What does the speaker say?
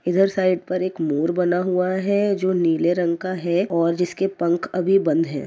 इधर साइड पर एक मोर बना हुआ है जो नीले रंग का है और जिसके पंख अभी बंद हैं।